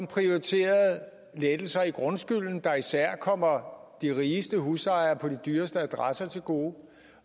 prioriteret lettelser i grundskylden der især kommer de rigeste husejere på de dyreste adresser til gode